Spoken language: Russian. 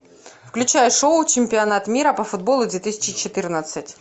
включай шоу чемпионат мира по футболу две тысячи четырнадцать